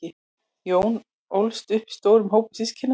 jón ólst upp í stórum hópi systkina